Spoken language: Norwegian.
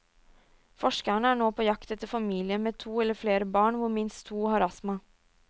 Forskerne er nå på jakt etter familier med to eller flere barn hvor minst to har astma.